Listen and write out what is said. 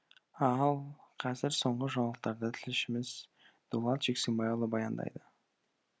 ал қазір соңғы жаңалықтарды тілшіміз дулат жексенбайұлы баяндайды